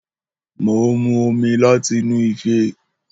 Mó ń mù òmí làtínù ìfé.